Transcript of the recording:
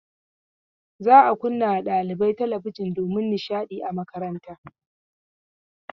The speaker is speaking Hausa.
Za a kunna ma ɗalibai talabijin domin nishaɗi a makaranta.